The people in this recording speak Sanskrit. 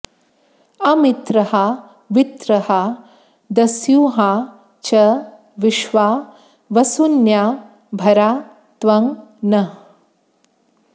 अमित्रहा वृत्रहा दस्युहा च विश्वा वसून्या भरा त्वं नः